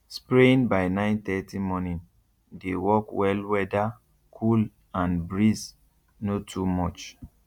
spraying by nine thirty morning dey work wellweather cool and breeze no too much